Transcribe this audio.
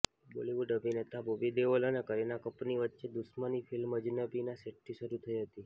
બોલીવુડ અભિનેતા બોબી દેઓલ અને કરીના કપૂરની વચ્ચે દુશ્મની ફિલ્મ અજનબીના સેટથી શરૂ થઇ હતી